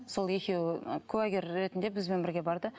сол екеуі куәгер ретінде бізбен бірге барды